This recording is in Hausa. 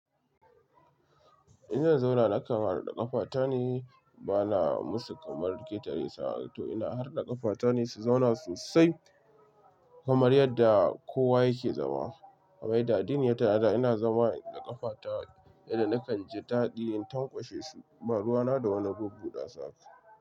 In zan zauna naka harda ƙafata ne, bana musu kamar ketare su haka toh ina harda ƙafata ne su zauna sosai kamar yadda kowa yake zama. Kamar yadda addini ya tanada ina zama in nade ƙafata, inda nakan ji daɗi in tanƙwashe su. Ba ruwa na da wani bubbudasu.